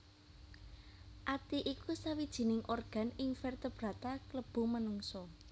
Ati iku sawijining organ ing vertebrata klebu menungsa